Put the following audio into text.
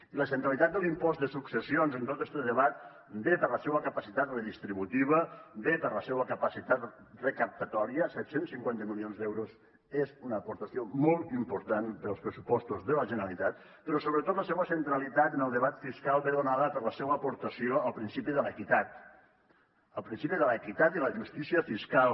i la centralitat de l’impost de successions en tot este debat ve per la seua capacitat redistributiva ve per la seua capacitat recaptatòria set cents i cinquanta milions d’euros és una aportació molt important per als pressupostos de la generalitat però sobretot la seua centralitat en el debat fiscal ve donada per la seua aportació al principi de l’equitat al principi de l’equitat i la justícia fiscal